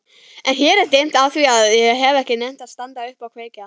Og hér er dimmt afþvíað ég hef ekki nennt að standa upp og kveikja.